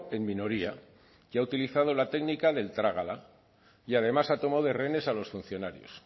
en minoría que ha utilizado la técnica del trágala y además ha tomado de rehenes a los funcionarios